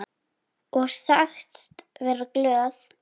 Og sagst vera glöð.